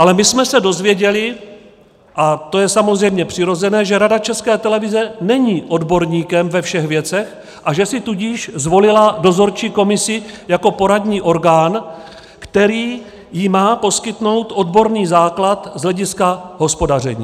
Ale my jsme se dozvěděli, a to je samozřejmě přirozené, že Rada České televize není odborníkem ve všech věcech, a že si tudíž zvolila dozorčí komisi jako poradní orgán, který jí má poskytnout odborný základ z hlediska hospodaření.